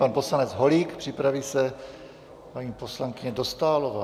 Pan poslanec Holík, připraví se paní poslankyně Dostálová.